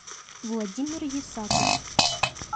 владимир исаков